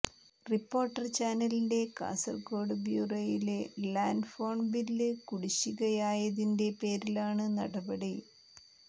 reporter ചാനലിന്റെ കാസർകോഡ് ബ്യൂറോയിലെ land phone bill കുടിശിഖയായതിന്റെ പേരിലാണ് നടപടി